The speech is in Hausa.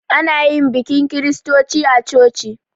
Ana yi bikin kiristoci a coci